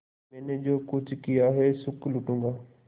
मैंने जो कुछ किया है सुख लूटूँगा